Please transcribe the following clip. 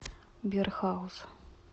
бирхаус